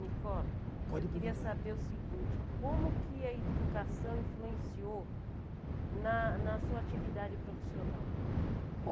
Nicola, pode perguntar, eu queria saber o seguinte, como que a educação influenciou na na sua atividade profissional?